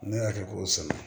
Ne y'a kɛ k'o sɛbɛ